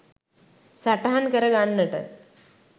සටහන් කරගන්නට